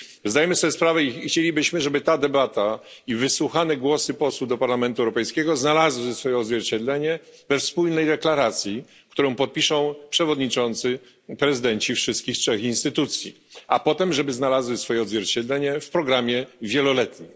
Zdajemy sobie sprawę i chcielibyśmy, żeby ta debata i wysłuchane głosy posłów do Parlamentu Europejskiego znalazły odzwierciedlenie we wspólnej deklaracji, którą podpiszą przewodniczący wszystkich trzech instytucji, a potem by znalazły odzwierciedlenie w programie wieloletnim.